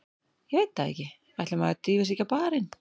Ég veit það ekki, ætli maður drífi sig ekki á barinn.